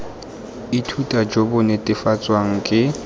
ithuta jo bo netefatswang ke